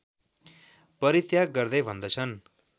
परित्याग गर्दै भन्दछन्